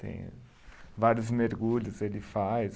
Tem vários mergulhos, ele faz.